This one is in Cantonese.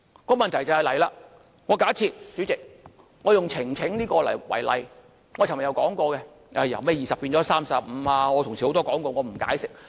這樣一來便出問題了，代理主席，我以呈請為例——我昨天也說過——由20人提高至35人，很多同事已說過，我不作解釋。